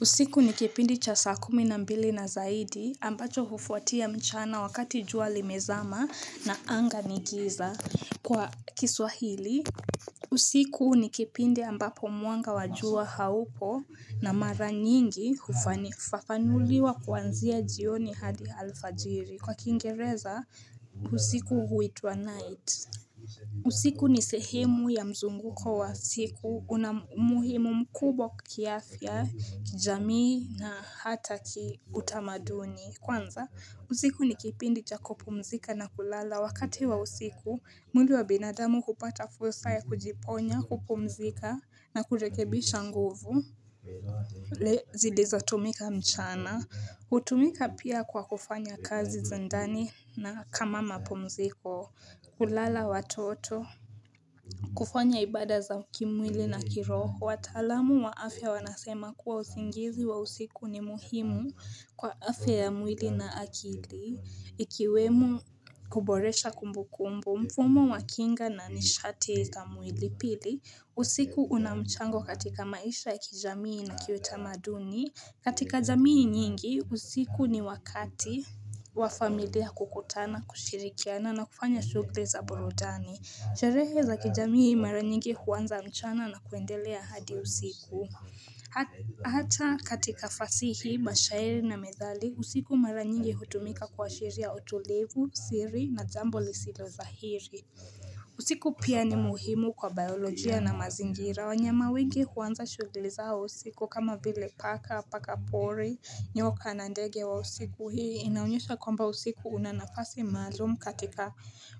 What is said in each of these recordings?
Usiku ni kipindi cha saa kumi na mbili na zaidi ambacho hufuatia mchana wakati jua limezama na anga ni giza kwa kiswahili usiku ni kipindi ambapo mwanga wa jua haupo na mara nyingi hufafanuliwa kuanzia jioni hadi alfajiri kwa kiingereza usiku huitwa night usiku ni sehemu ya mzunguko wa siku una muhimu mkubwa kiafya kijamii na hata kiutamaduni Kwanza, usiku ni kipindi cha kupumzika na kulala wakati wa usiku, mwili wa binadamu hupata fursa ya kujiponya, kupumzika na kurekebisha nguvu Le zilizotumika mchana, hutumika pia kwa kufanya kazi za ndani na kama mapumziko kulala watoto kufanya ibada za kimwili na kiroho, wataalamu wa afya wanasema kuwa usingizi wa usiku ni muhimu kwa afya ya mwili na akili Ikiwemo kuboresha kumbukumbu, mfumo wa kinga na nishati za mwili pili usiku una mchango katika maisha ya kijamii na kiutamaduni katika jamii nyingi, usiku ni wakati wa familia kukutana, kushirikiana na kufanya shughulli za burudani Sherehe za kijamii mara nyingi huanza mchana na kuendelea hadi usiku Hata katika fasihi, mashairi na methali, usiku mara nyingi hutumika kuashira utulivu, siri na jambo lisilo sahihi usiku pia ni muhimu kwa biolojia na mazingira wanyama wengi huanza shughulli zao usiku kama vile paka pakapori nyoka na ndege wa usiku hii inaonyesha kwamba usiku una nafasi maalumu katika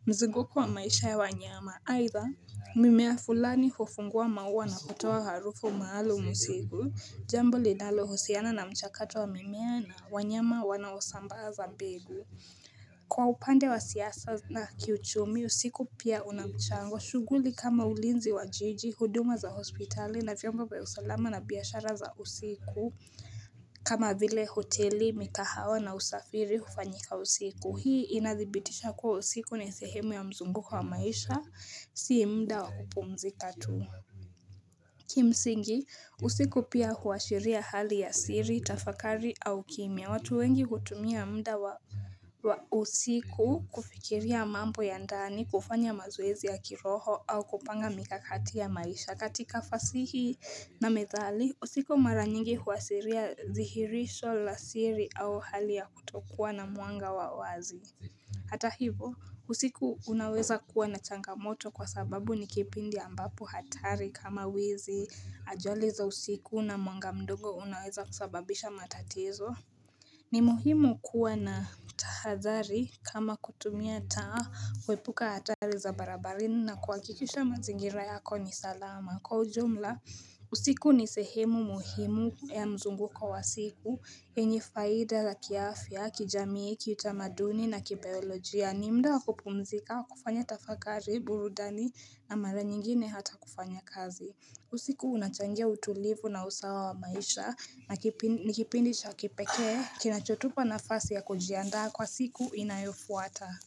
mzunguko wa maisha ya wanyama aidha mimea fulani hufungua maua na kutoaa harufu maalum usiku jambo linalohusiana na mchakato wa mimea na wanyama wanaosambaza mbegu Kwa upande wa siasa na kiuchumi, usiku pia una mchango, shughuli kama ulinzi wa jiji, huduma za hospitali na vyombo wa usalama na biashara za usiku. Kama vile hoteli, mikahawa na usafiri hufanyika usiku, hii inadhibitisha kuwa usiku ni sehemu ya mzunguko maisha, si muda wa kupumzika tu. Kimsingi, usiku pia huashiria hali ya siri, tafakari au kimya, watu wengi hutumia muda wa usiku. Kufikiria mambo ya ndani kufanya mazoezi ya kiroho au kupanga mikakati ya maisha katika fasihi na methali usiku mara nyingi huasiria dhihirisho la siri au hali ya kutokuwa na mwanga wa wazi Hata hivo usiku unaweza kuwa na changamoto kwa sababu ni kipindi ambapo hatari kama wizi ajali za usiku na mwanga mdogo unaweza kusababisha matatizo. Ni muhimu kuwa na tahadhari kama kutumia taa kuepuka hatari za barabarani na kuhakikisha mazingira yako ni salama kwa ujumla usiku ni sehemu muhimu ya mzunguko wa siku yenye faida la kiafya kijamii kiutamaduni na kibayolojia ni muda wa kupumzika kufanya tafakari burudani na mara nyingine hata kufanya kazi. Usiku unachangia utulivu na usawa wa maisha ni kipindi cha kipekee Kinachotupa nafasi ya kujiandaa kwa siku inayofuata.